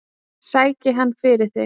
Sæki hann fyrir þig.